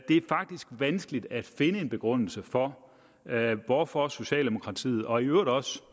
det er faktisk vanskeligt at finde en begrundelse for hvorfor socialdemokratiet og i øvrigt også